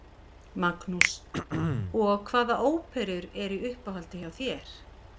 Magnús: Og hvaða óperur eru í uppáhaldi hjá þér?